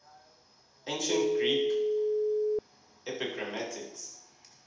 ancient greek epigrammatists